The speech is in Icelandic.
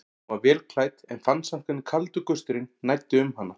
Hún var vel klædd en fann samt hvernig kaldur gusturinn næddi um hana.